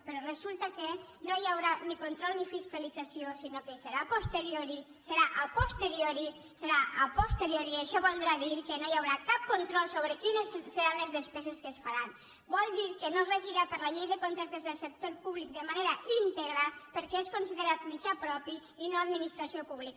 però resulta que no hi haurà ni control ni fiscalització sinó que hi serà a posteriori serà posteriori i això voldrà dir que no hi haurà cap control sobre quines seran les despeses que es faran vol dir que no es regirà per la llei de contractes del sector públic de manera íntegra perquè és considerat mitjà propi i no administració pública